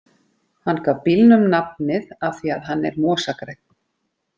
Hann gaf bílnum nafnið af því að hann er mosagrænn.